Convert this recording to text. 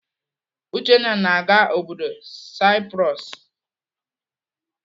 Uchenna na-aga obodo Saipros.